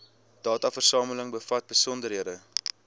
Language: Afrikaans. dataversameling bevat besonderhede